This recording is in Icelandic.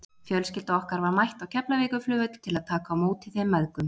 Fjölskylda okkar var mætt á Keflavíkurflugvöll til að taka á móti þeim mæðgum.